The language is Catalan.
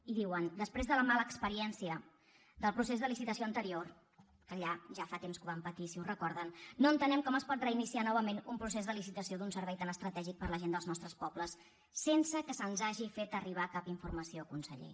i diuen després de la mala experiència del procés de licitació anterior que allà ja fa temps que ho van patir si ho recorden no entenem com es pot reiniciar novament un procés de licitació d’un servei tan estratègic per a la gent dels nostres pobles sense que se’ns hagi fet arribar cap informació conseller